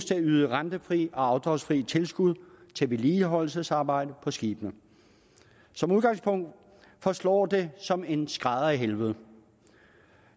til at yde rentefri og afdragsfri tilskud til vedligeholdelsesarbejde på skibene som udgangspunkt forslår det som en skrædder i helvede